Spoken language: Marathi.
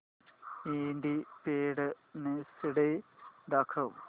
इंडिपेंडन्स डे दाखव